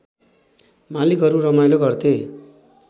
मालिकहरू रमाइलो गर्थे